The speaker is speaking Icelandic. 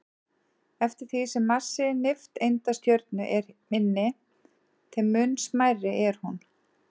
Eftir því sem massi nifteindastjörnu er minni, þeim mun smærri er hún.